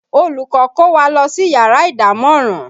Olùkọ́ kó wa lọ sí yàrá ìdámọ̀ràn